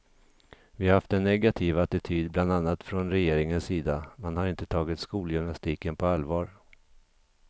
Vi har haft en negativ attityd bland annat från regeringens sida, man har inte tagit skolgymnastiken på allvar.